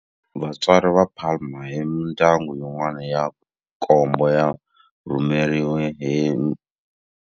Vatswari va Palma hi mindyangu yin'wana ya nkombo va rhumeriwe.